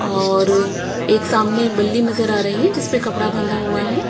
औऔर एक सामने बल्ली नज़र आ रही है जिस पे कपड़ा बंधा हुआ है।